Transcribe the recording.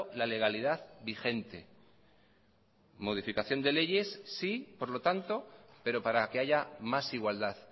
la legalidad vigente modificación de leyes sí por lo tanto pero para que haya más igualdad